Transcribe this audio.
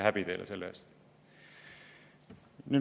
Häbi teile selle eest!